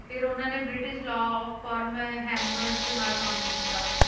ਫਿਰ ਉਹਨਾਂ ਨੇ British law of firm Hammonds ਨਾਲ ਕੰਮ ਕੀਤਾ,